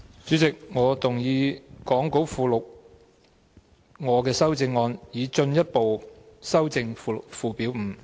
主席，我動議講稿附錄我的修正案，以進一步修正附表5。